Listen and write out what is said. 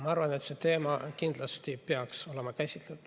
Ma arvan, et see teema peaks kindlasti olema käsitletud.